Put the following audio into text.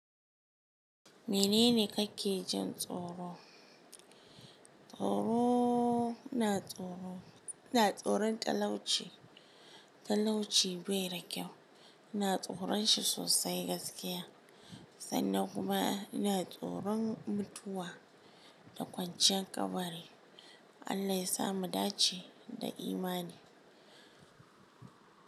Menene kake jin tsoro? Tsoro, ina tsoro, ina tsoron talauci, talauci bai da kyau. Ina tsoron shi sosai gaskiya sannan kuma ina tsoron mutuwa da kwanciyar kabari. Allah ya sa mu dace da imani.